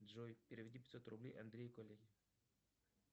джой переведи пятьсот рублей андрею коллеге